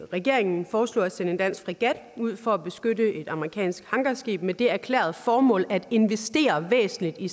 regeringen foreslog at sende en dansk fregat ud for at beskytte et amerikansk hangarskib med det erklærede formål at investere væsentligt i